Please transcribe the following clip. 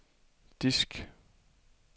disk